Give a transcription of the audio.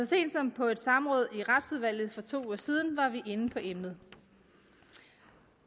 sent som på et samråd i retsudvalget for to uger siden var vi inde på emnet